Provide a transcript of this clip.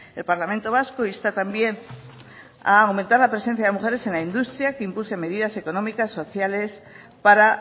el parlamento vasco insta también a aumentar la presencia de mujeres en la industria que impulse medidas económicas sociales para